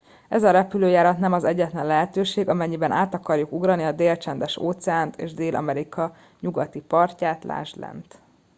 ez a repülőjárat nem az egyetlen lehetőség amennyiben át akarjuk ugrani a dél-csendes-óceánt és dél-amerika nyugati partját. lásd lent